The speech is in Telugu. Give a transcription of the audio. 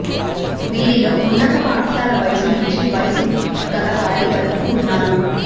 వీరిలో ఉన్నత పాఠశాల వయసు నుంచి వయసు గలవారి వరకూ ఉన్నారు